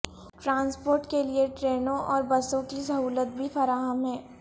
transport کئلیے ٹرینوں اور بسو کی سہو لت بھی فرا ہم ہے